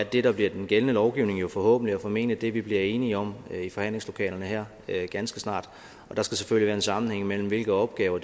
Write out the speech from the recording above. det der bliver den gældende lovgivning jo forhåbentlig og formentlig er det vi bliver enige om i forhandlingslokalerne her ganske snart der skal selvfølgelig være en sammenhæng mellem hvilke opgaver